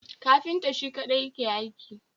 Kafintan Shi kadai yake aiki